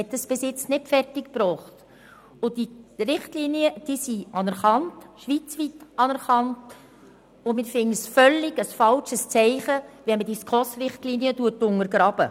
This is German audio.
Wir halten es für ein völlig falsches Zeichen, wenn man diese SKOS-Richtlinien untergräbt.